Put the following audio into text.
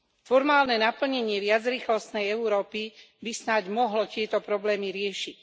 Formálne naplnenie viacrýchlostnej Európy by snáď mohlo tieto problémy riešiť.